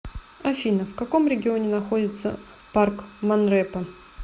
афина в каком регионе находится парк монрепо